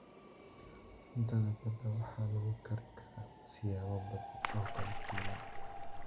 Cuntada badda waxaa lagu karin karaa siyaabo badan oo kala duwan.